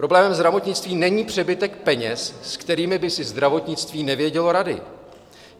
Problémem zdravotnictví není přebytek peněz, s kterými by si zdravotnictví nevědělo rady.